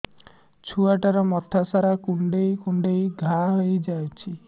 ଛୁଆଟାର ମଥା ସାରା କୁଂଡେଇ କୁଂଡେଇ ଘାଆ ହୋଇ ଯାଇଛି